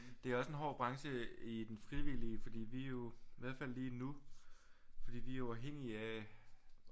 Det er også en hård branche i den frivillige fordi vi er jo i hvert fald lige nu fordi vi er jo afhængige af